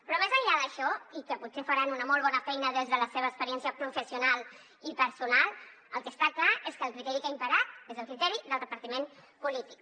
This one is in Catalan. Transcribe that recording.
però més enllà d’això i que potser faran una molt bona feina des de la seva experiència professional i personal el que està clar és que el criteri que ha imperat és el criteri del repartiment polític